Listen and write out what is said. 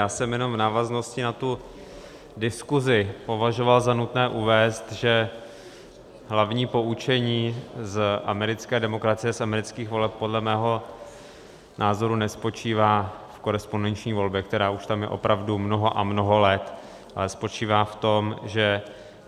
Já jsem jenom v návaznosti na tu diskusi považoval za nutné uvést, že hlavní poučení z americké demokracie, z amerických voleb podle mého názoru nespočívá v korespondenční volbě, která už tam je opravdu mnoho a mnoho let, ale spočívá v tom, že